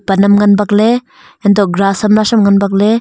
pan am ngan bak ley untoh grass am nasham ngan bak ley.